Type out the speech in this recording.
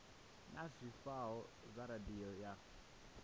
na zwifhao zwa radio ya